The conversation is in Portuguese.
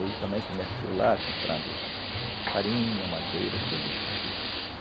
Ele também comerciou lá, comprando farinha, madeira, tudo ele fazia.